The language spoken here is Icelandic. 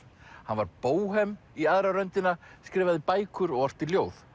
hann var bóhem í aðra röndina skrifaði bækur og orti ljóð